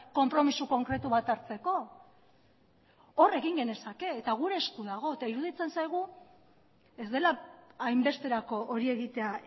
konpromiso konkretu bat hartzeko hor egin genezake eta gure esku dago eta iruditzen zaigu ez dela hainbesterako hori egitea